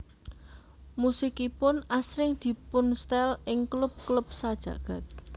Musikipun asring dipunstel ing klub klub sajagad